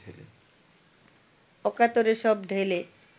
অকাতরে সব ঢেলে